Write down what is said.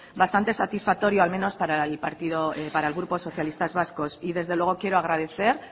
bastante satisfactorio al menos para el grupo socialistas vascos y desde luego quiero agradecer